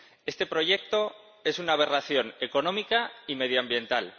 Este proyecto es una aberración económica y medioambiental.